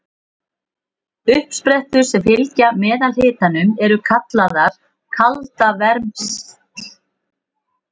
Uppsprettur sem fylgja meðalhitanum eru kallaðar kaldavermsl.